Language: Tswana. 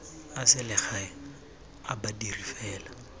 a selegae a badiri fela